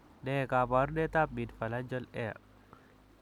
Ne kaabarunetap Midphalangeal hair?